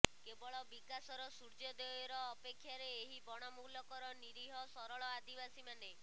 କେବଳ ବିକାଶର ସୂର୍ଯ୍ୟୋଦୟର ଅପେକ୍ଷାରେ ଏହି ବଣମୂଲକର ନୀରୀହ ସରଳ ଆଦିବାସୀମାନେ